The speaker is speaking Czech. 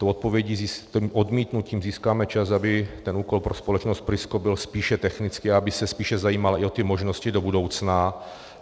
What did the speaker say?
Tím odmítnutím získáme čas, aby ten úkol pro společnost Prisco byl spíše technický a aby se spíše zajímala i o ty možnosti do budoucna.